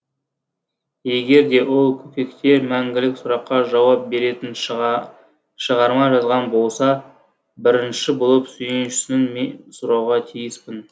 егер де ол көкектер мәңгілік сұраққа жауап беретін шығарма жазған болса бірінші болып сүйіншісін мен сұрауға тиіспін